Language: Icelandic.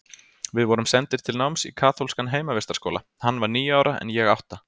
Við vorum sendir til náms í kaþólskan heimavistarskóla, hann var níu ára en ég átta.